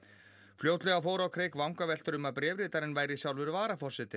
fljótlega fóru á kreik vangaveltur um að bréfritarinn væri sjálfur varaforsetinn